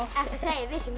við séum